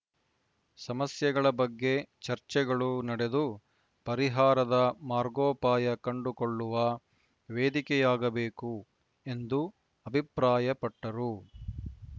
ಸಮಸ್ಯೆಗಳ ಬಗ್ಗೆ ಚರ್ಚೆಗಳು ನಡೆದು ಪರಿಹಾರದ ಮಾರ್ಗೋಪಾಯ ಕಂಡುಕೊಳ್ಳುವ ವೇದಿಕೆಯಾಗಬೇಕು ಎಂದು ಅಭಿಪ್ರಾಯಪಟ್ಟರು